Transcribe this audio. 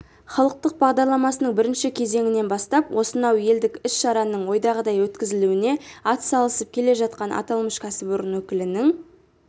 халықтық бағдарламасының бірінші кезеңінен бастап осынау елдік іс-шараның ойдағыдай өткізілуіне атсалысып келе жатқан аталмыш кәсіпорын өкілінің